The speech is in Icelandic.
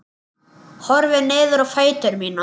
Horfi niður á fætur mína.